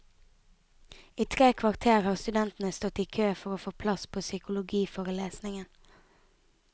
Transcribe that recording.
I tre kvarter har studentene stått i kø for å få plass på psykologiforelesningen.